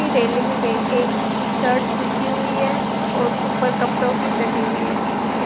Railing पे एक shirt सूखी हुई है और ऊपर कपड़ों की तरीबी लगी हुई है।